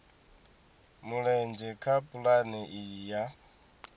mulenzhe kha pulane iyi ya